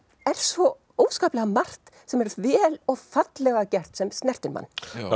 er svo óskaplega margt sem er vel og fallega gert sem snertir mann